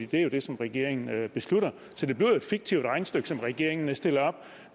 det er det som regeringen beslutter så det bliver jo et fiktivt regnestykke som regeringen stiller op